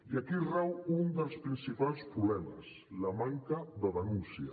i aquí rau un dels principals problemes la manca de denúncia